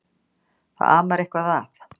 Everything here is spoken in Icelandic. Það amar eitthvað að.